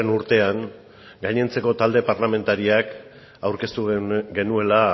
urtean gainontzeko talde parlamentarioak aurkeztu genuela